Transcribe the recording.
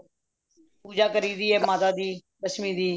ਪੂਜਾ ਕਰੋ ਪੂਜਾ ਕਰੀ ਦੀ ਏ ਮਾਤਾ ਦੀ ਲਕਛਮੀ ਦੀ